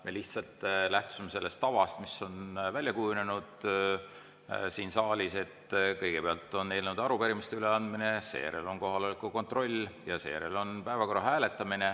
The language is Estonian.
Me lihtsalt lähtusime sellest tavast, mis on välja kujunenud siin saalis, et kõigepealt on eelnõude ja arupärimiste üleandmine, seejärel on kohaloleku kontroll ja seejärel päevakorra hääletamine.